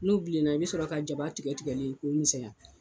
N'u bilenna i bɛ sɔrɔ ka jaba tigɛ tigɛlen k'o misɛnya